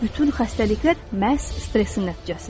Bütün xəstəliklər məhz stressin nəticəsidir.